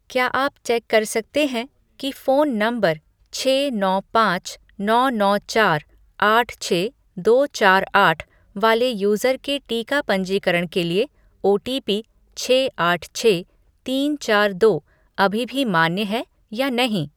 क्या आप चेक कर सकते हैं कि फ़ोन नंबर छः नौ पाँच नौ नौ चार आठ छः दो चार आठ वाले यूज़र के टीका पंजीकरण के लिए ओटीपी छः आठ छः तीन चार दो अभी भी मान्य है या नहीं?